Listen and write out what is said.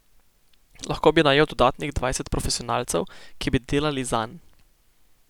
Lahko bi najel dodatnih dvajset profesionalcev, ki bi delali zanj.